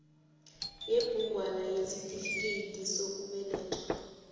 yebhugwana yesitifikedi sokubelethwa